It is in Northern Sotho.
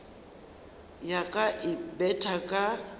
ya ka e betha ka